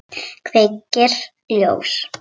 Kveikir ljós.